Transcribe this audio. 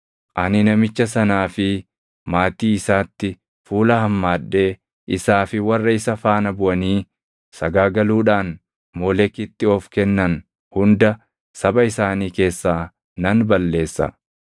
ani namicha sanaa fi maatii isaatti fuula hammaadhee isaa fi warra isa faana buʼanii sagaagaluudhaan Moolekitti of kennan hunda saba isaanii keessaa nan balleessa.